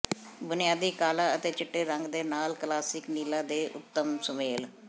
ਬੁਨਿਆਦੀ ਕਾਲਾ ਅਤੇ ਚਿੱਟੇ ਰੰਗ ਦੇ ਨਾਲ ਕਲਾਸਿਕ ਨੀਲਾ ਦੇ ਉੱਤਮ ਸੁਮੇਲ